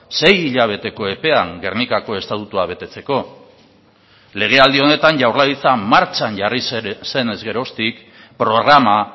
sei hilabeteko epean gernikako estatutua betetzeko lege aldi honetan jaurlaritza martxan jarri zen ez geroztik programa